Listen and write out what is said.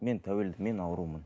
мен тәуелді мен аурумын